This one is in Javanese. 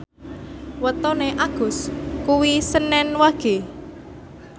wetone Agus kuwi senen Wage